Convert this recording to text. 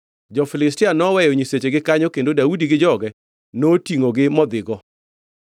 Jo-Filistia noweyo nyisechegi kanyo kendo Daudi gi joge notingʼo gi modhigo.